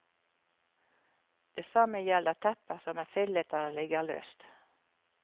Det samme gjelder tepper som er fillete eller ligger løst.